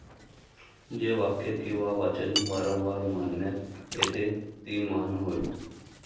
जे वाक्य किंवा वाचन वारंवार म्हणण्यात येते ती 'म्हण'होय.